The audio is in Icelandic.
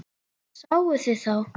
Sáuð þið þá?